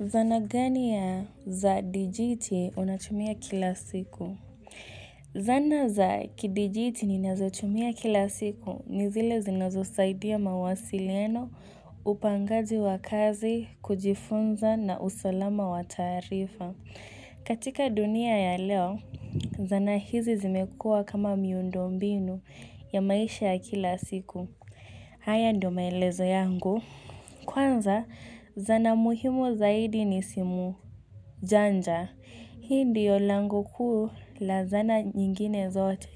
Zana gani ya za dijiti unatumia kila siku? Zana za kidijiti ninazotumia kila siku ni zile zinazosaidia mawasiliano, upangaji wa kazi, kujifunza na usalama wa taarifa. Katika dunia ya leo, zana hizi zimekua kama miundo mbinu ya maisha ya kila siku. Haya ndo maelezo yangu. Kwanza zana muhimu zaidi ni simu janja, hi ndio lango kuu la zana nyingine zote.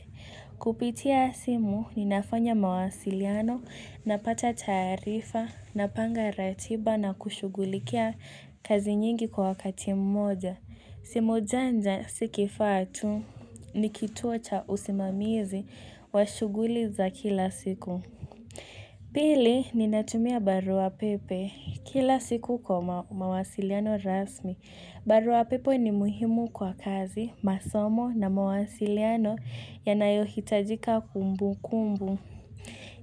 Kupitia simu ni nafanya mawasiliano na pata taarifa na panga ratiba na kushugulikia kazi nyingi kwa wakati mmoja. Simu janja si kifaa tu ni kituo cha usimamizi wa shuguli za kila siku. Pili, ninatumia barua pepe kila siku kwa mawasiliano rasmi. Barua pepe ni muhimu kwa kazi, masomo na mawasiliano yanayohitajika kumbu kumbu.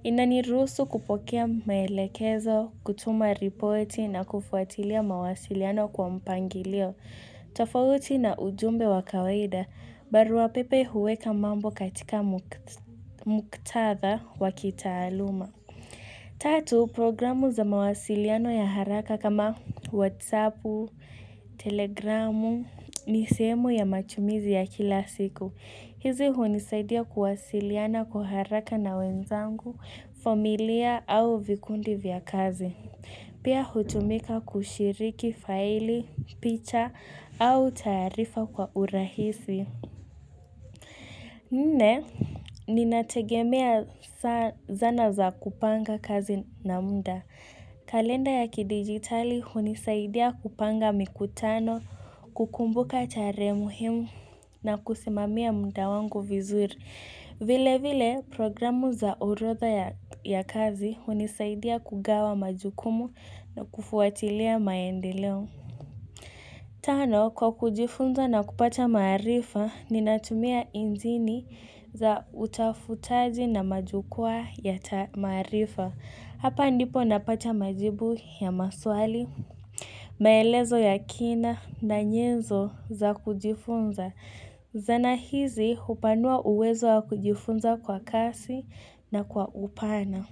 Inaniruhusu kupokea maelekezo, kutuma ripoti na kufuatilia mawasiliano kwa mpangilio. Tofauti na ujumbe wa kawaida, barua pepe huweka mambo katika muktatha wa kitaaluma. Tatu programu za mawasiliano ya haraka kama whatsappu telegramu ni sehemu ya matumizi ya kila siku hizi hunisaidia kuwasiliana kwa haraka na wenzangu familia au vikundi vya kazi pia hutumika kushiriki faili picha au taarifa kwa urahisi Nne, ninategemea zana za kupanga kazi na mda. Kalenda ya kidijitali hunisaidia kupanga mikutano, kukumbuka tarehe muhimu na kusimamia mda wangu vizuri. Vile vile, programu za orodha ya kazi hunisaidia kugawa majukumu na kufuatilia maendeleo. Tano, kwa kujifunza na kupata maarifa, ninatumia indzini za utafutaji na majukwaa ya ta maarifa. Hapa ndipo napata majibu ya maswali. Maelezo ya kina na nyezo za kujifunza. Zana hizi hupanua uwezo wa kujifunza kwa kasi na kwa upana.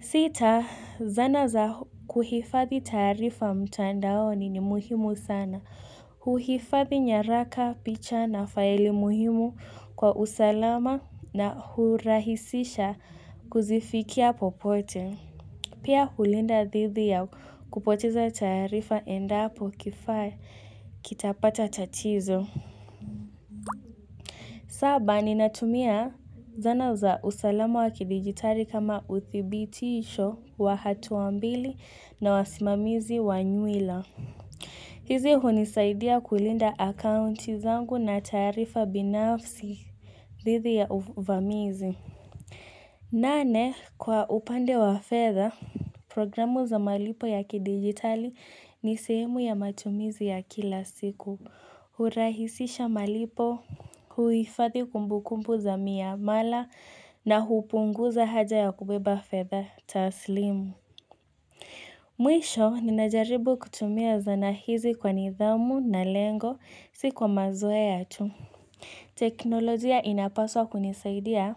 Sita, zana za kuhifadhi taarifa mtandaoni ni muhimu sana. Huhifadhi nyaraka, picha na faili muhimu kwa usalama na hurahisisha kuzifikia popote. Pia hulinda dhidhi ya kupoteza taarifa endapo kifaa kitapata tatizo. Saba, ninatumia zana za usalama wa kidigitali kama uthibitisho wa hatua mbili na wasimamizi wa nywila. Hizi hunisaidia kulinda akaunti zangu na taarifa binafsi dhidhi ya uvamizi nane kwa upande wa fedha programu za malipo ya kidijitali ni sehemu ya matumizi ya kila siku hurahisisha malipo huifadhi kumbu kumbu za miamala na hupunguza haja ya kubeba fedha taslimu Mwisho, ninajaribu kutumia zana hizi kwa nidhamu na lengo, si kwa mazoea tu. Teknolojia inapaswa kunisaidia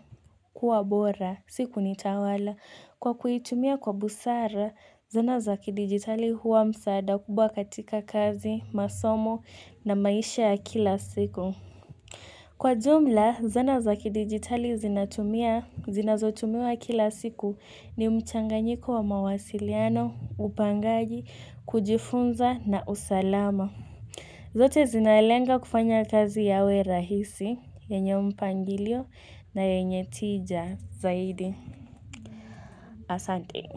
kuwa bora, si kunitawala. Kwa kuitumia kwa busara, zana za kidigitali huwa msaada kubwa katika kazi, masomo na maisha ya kila siku. Kwa jumla, zana za kidigitali zinatumia, zinazotumiwa kila siku ni mchanganyiko wa mawasiliano, upangaji, kujifunza na usalama. Zote zinalenga kufanya kazi yawe rahisi, yenye mpangilio na yenye tija zaidi. Asante.